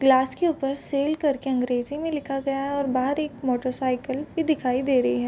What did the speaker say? Glass के ऊपर sale कर के अंग्रेजी में लिखा गया है और बाहर एक मोटर साइकिल भी दिखाई दे रही है।